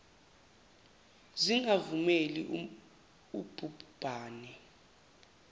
zingavumeli ub hubhane